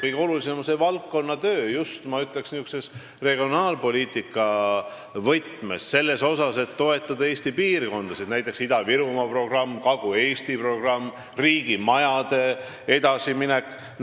Kõige olulisem on see valdkonnatöö niisuguses regionaalpoliitika võtmes, et toetada Eesti piirkondasid, näiteks Ida-Virumaa programm, Kagu-Eesti programm, riigimajadega edasiminek.